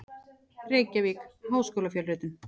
Reykjavík: Háskólafjölritun.